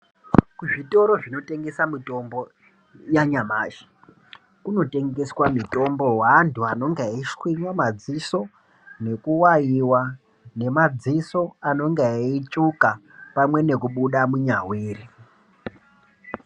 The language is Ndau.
Kuzvitoro zvinotengesa mitombo yanyamashi kunotengeswa mitombo weantu anonga eshwinywa madziso nekuwaiwa nemadziso anenga eitsvuka pamwe nekubuda munyawiri.